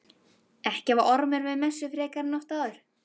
Ekki var Ormur við messu frekar en oft áður.